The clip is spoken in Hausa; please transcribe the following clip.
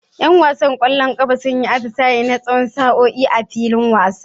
Yan wasan kwallon kafa sun yi atisaye na tsawon sa'o'i a filin wasa.